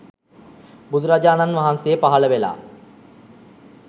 බුදුරජාණන් වහන්සේ පහළ වෙලා